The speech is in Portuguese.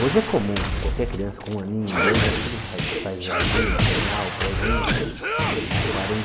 Hoje é comum, qualquer criança com um aninho, dois, já tudo faz faz jardim, maternal, prézinho. Há